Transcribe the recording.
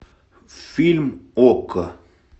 фильм окко